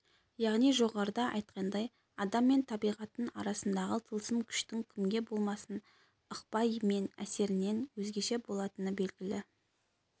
яғни жоғарыда айтқандай адам мен табиғаттың арасындағы тылсым күштің кімге болмасын ықпалы мен әсерінің өзгеше болатыны белгілі